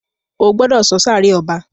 o gbódò so sáré ọba!